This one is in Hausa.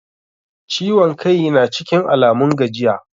Ciwon kai na cikin Alamun gajiya?